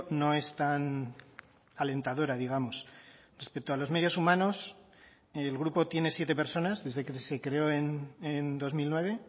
no es tan alentadora digamos respecto a los medios humanos el grupo tiene siete personas desde que se creó en dos mil nueve